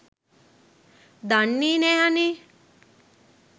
දන්නෙ නෑ අනේ